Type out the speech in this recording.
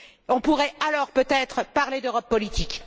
On pourrait alors peut être parler d'Europe politique.